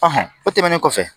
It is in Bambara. o tɛmɛnen kɔfɛ